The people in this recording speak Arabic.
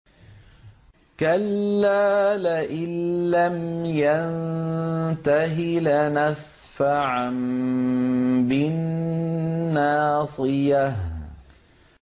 كَلَّا لَئِن لَّمْ يَنتَهِ لَنَسْفَعًا بِالنَّاصِيَةِ